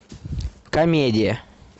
комедия